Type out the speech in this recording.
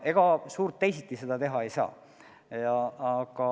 Ega suurt teisiti seda teha ei saa.